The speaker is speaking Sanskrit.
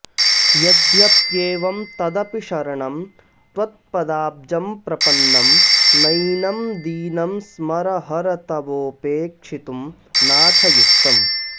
यद्यप्येवं तदपि शरणं त्वत्पदाब्जं प्रपन्नं नैनं दीनं स्मरहर तवोपेक्षितुं नाथ युक्तम्